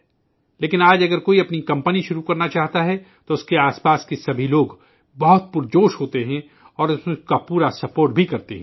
لیکن، آج اگر کوئی اپنی کمپنی شروع کرنا چاہتا ہے تو اس کے آس پاس کے تمام لوگ بہت پرجوش ہوتے ہیں اور اس میں اس کا مکمل تعاون بھی کرتے ہیں